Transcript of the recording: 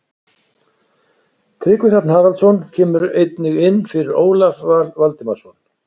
Tryggvi Hrafn Haraldsson kemur einnig inn fyrir Ólaf Val Valdimarsson.